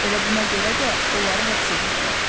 Elə buna görə də onları həbs eləyiblər.